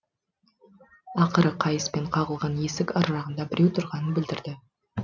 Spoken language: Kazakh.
ақыры қайыспен қағылған есік аржағында біреу тұрғанын білдірді